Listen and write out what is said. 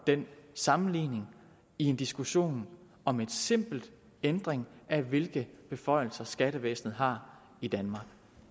den sammenligning i en diskussion om en simpel ændring af hvilke beføjelser skattevæsenet har i danmark